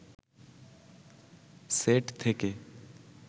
set থেকে